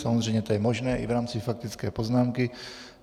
Samozřejmě je to možné i v rámci faktické poznámky.